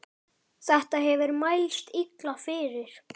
Þetta hefur mælst illa fyrir.